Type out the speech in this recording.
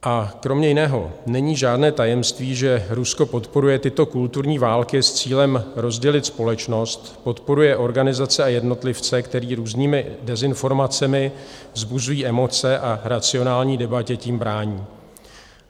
A kromě jiného není žádné tajemství, že Rusko podporuje tyto kulturní války s cílem rozdělit společnost, podporuje organizace a jednotlivce, které různými dezinformacemi vzbuzují emoce a racionální debatě tím brání.